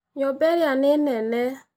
Nyũmba ĩrĩa nĩ nene.